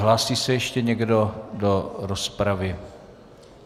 Hlásí se ještě někdo do rozpravy?